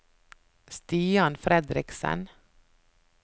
Stian Fredriksen